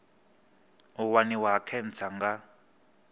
u waniwa ha khentsa nga